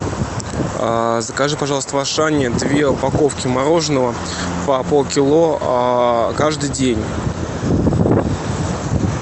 закажи пожалуйста в ашане две упаковки мороженого по полкило каждый день